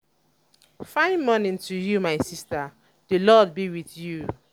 fine morning to you my sister the lord be with tyou